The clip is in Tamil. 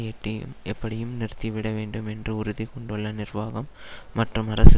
எட்டியும் எப்படியும் நிறுத்திவிட வேண்டும் என்று உறுதி கொண்டுள்ள நிர்வாகம் மற்றும் அரசு